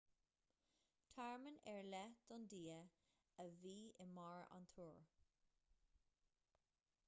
tearmann ar leith don dia a bhí i mbarr an túir